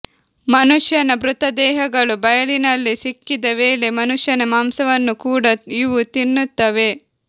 ಮನುಷ್ಯನ ಮೃತದೇಹಗಳು ಬಯಲಿನಲ್ಲಿ ಸಿಕ್ಕಿದ ವೇಳೆ ಮನುಷ್ಯನ ಮಾಂಸವನ್ನು ಕೂಡ ಇವು ತಿನ್ನುತ್ತವೆ